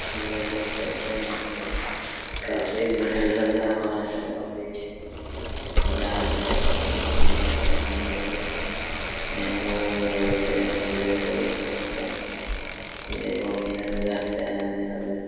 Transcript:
हम लोग देख सकते है यहाँ पे काफी भीड़ लगा हुआ है और ये जा रहे है अ और यहाँ पे हम लोग मैंगो वगेरा बेच रहे है ठेले पे देख सकते है ये फोर-व्हीलर उधर से आ रहे है उधर